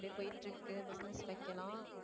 அப்படியே போயிட்டு இருக்கு business வைக்கலாம்